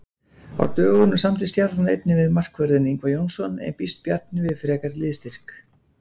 Á dögunum samdi Stjarnan einnig við markvörðinn Ingvar Jónsson en býst Bjarni við frekari liðsstyrk?